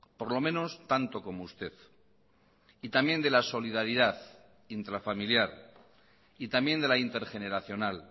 por lo menos tanto como usted y también de la solidaridad intrafamiliar y también de la intergeneracional